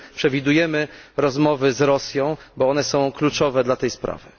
Czy przewidujemy rozmowy z Rosją, bo one są kluczowe dla tej sprawy?